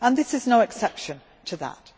This is no exception to that.